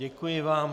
Děkuji vám.